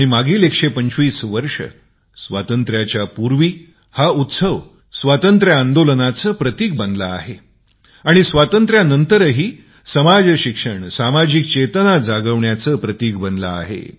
मागील १२५ वर्षे स्वातंत्र्याच्या पूर्वी ते स्वतंत्र आंदोलनाचे प्रतिक बनले आहे आणि स्वातंत्र्यानंतरही समाजशिक्षण सामाजिक चेतना जागविण्याचे प्रतिक बनले आहे